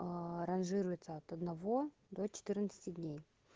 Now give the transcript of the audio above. аа ранжируется от одного до четырнадцати дней